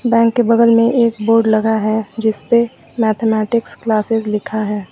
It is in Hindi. बैंक के बगल में एक बोड लगा है जिसपे मैथमेटिक्स क्लासेस लिखा है।